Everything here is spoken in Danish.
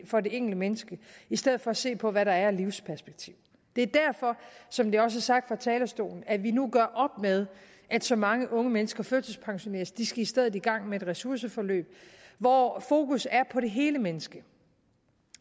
for det enkelte menneske i stedet for at se på hvad der er af livsperspektiv det er derfor som det også er sagt fra talerstolen at vi nu gør op med at så mange unge mennesker førtidspensioneres de skal i stedet i gang med et ressourceforløb hvor fokus er på det hele menneske